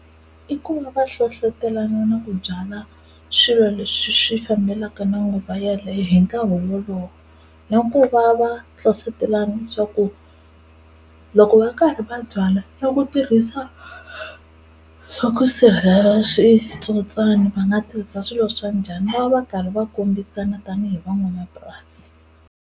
I ku va va hlohlotelana na ku byala swilo leswi swi fambelaka na nguva yaleyo hi nkarhi wolowo, na ku va va hlohlotelana swa ku loko va karhi va byala na ku tirhisa swa ku sirhelela switsotswani va nga tirhisa swilo swa njhani va va karhi va kombisana tanihi van'wamapurasi.